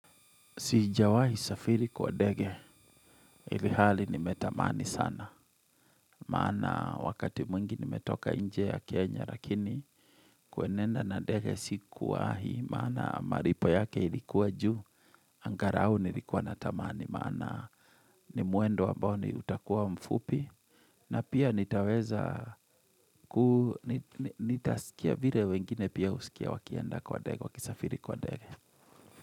Sijawahi safiri kwa ndege, ilihali nimetamani sana, maana wakati mwingi nimetoka nje ya Kenya lakini, kuenenda na ndege sikuwahi, maana maripo yake ilikuwa juu, angarao nilikuwa natamani, maana ni mwendo ambao ni utakuwa mfupi, na pia nitaweza ku, nitaskia vire wengine pia usikia wakienda kwa ndege, wakisafiri kwa ndege.